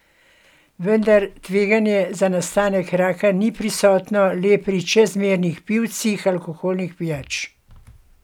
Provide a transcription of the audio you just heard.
Vendar tveganje za nastanek raka ni prisotno le pri čezmernih pivcih alkoholnih pijač.